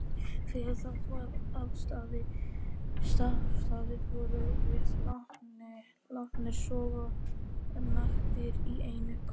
Þegar það var afstaðið vorum við látnir sofa naktir í einni kös.